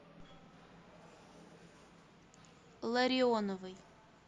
ларионовой